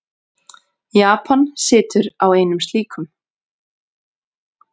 Japan situr á einum slíkum.